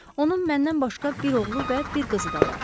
Onun məndən başqa bir oğlu və bir qızı da var.